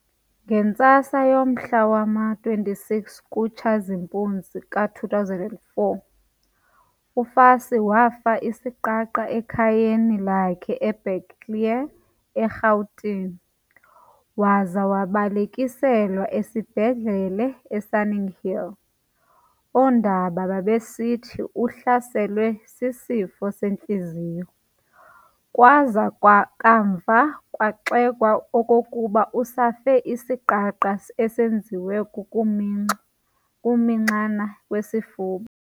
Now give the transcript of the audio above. Ngentsasa yangomhla wama-26 kuTshazimpuzi ka2004, uFassie wafa isiqaqa esekhayeni lakhe eBuccleuch, eRhawutini, waza wabalekiselwa kwisibhedlele eSunninghill. Oonondaba babesithi uhlaselwe sisifo sentliziyo, kwaza kamva kwaxekwa okokuba usafe isiqaqa esenziwe kukuminxwa kukuminxana kwesifuba.